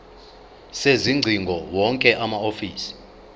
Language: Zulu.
sezingcingo wonke amahhovisi